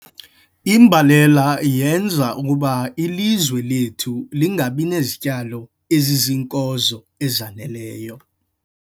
Imbalela yenza ukuba ilizwe lethu lingabi nazityalo eziziinkozo ezaneleyo.